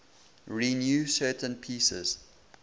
renew certain pieces